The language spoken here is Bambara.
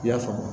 I y'a faamu